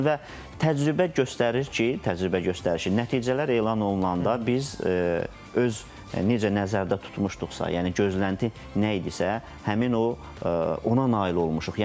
Və təcrübə göstərir ki, təcrübə göstərir ki, nəticələr elan olunanda biz öz necə nəzərdə tutmuşduqsa, yəni gözlənti nə idisə, həmin o ona nail olmuşuq.